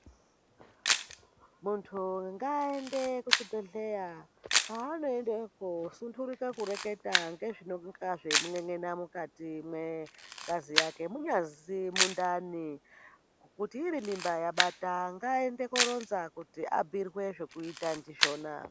Muntu ngaaende kuchibhedhleya .Paanoendeko sundirike kureketa ngezvinenge zvaikun'en'ena ngazi yake ,munyazi mundani kuti iri mimba yabata ngaaende koronza kuti abhuirwe zvekuita ndizvona